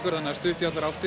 það er stutt í allar áttir